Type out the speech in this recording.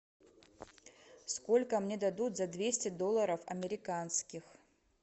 сколько мне дадут за двести долларов американских